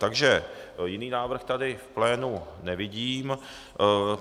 Takže jiný návrh tady v plénu nevidím.